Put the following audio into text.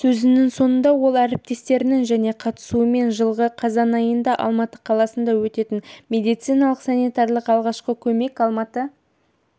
сөзінің соңында ол әріптестерінің және қатысуымен жылғы қазан айында алматы қаласында өтетін медициналық-санитариялық алғашқы көмек алматы